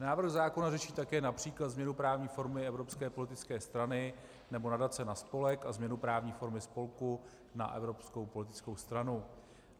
Návrh zákona řeší také například změnu právní formy evropské politické strany nebo nadace na spolek a změnu právní formy spolku na evropskou politickou stranu.